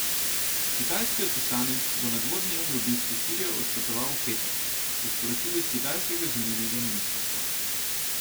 Kitajski odposlanec bo na dvodnevni obisk v Sirijo odpotoval v petek, so sporočili s kitajskega zunanjega ministrstva.